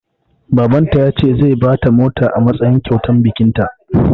Baban ta ya ce zai bata mota a matsayin kyautar bikin ta